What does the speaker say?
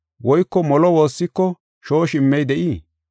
Woyko molo woossiko shooshi immey de7ii?